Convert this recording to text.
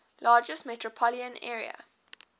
largest metropolitan area